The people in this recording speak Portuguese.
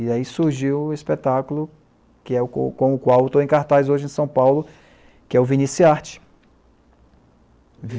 E aí surgiu o espetáculo com o qual eu estou em cartaz hoje em São Paulo, que é o Vinícius e Arte.